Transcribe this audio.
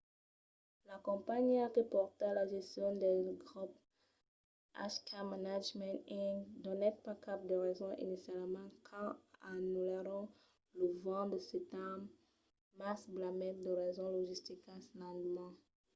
la companhiá que pòrta la gestion del grop hk management inc. donèt pas cap de rason inicialament quand anullèron lo 20 de setembre mas blasmèt de rasons logisticas l'endeman